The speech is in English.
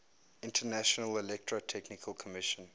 international electrotechnical commission